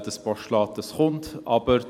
Das angekündigte Postulat wird kommen.